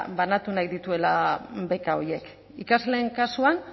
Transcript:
banatu nahi dituela beka horiek ikasleen kasuan